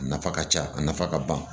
A nafa ka ca a nafa ka ban